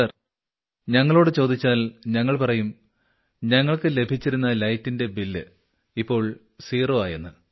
sir ഞങ്ങളോട് ചോദിച്ചാൽ ഞങ്ങൾ പറയും ഞങ്ങൾക്ക് ലഭിച്ചിരുന്ന ലൈറ്റിന്റെ ബില്ല് ഇപ്പോൾ സീറോ ആയെന്ന്